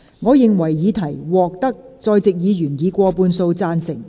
我認為議題獲得在席議員以過半數贊成。